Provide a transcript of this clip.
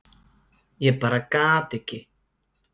Ég bara gat ekki.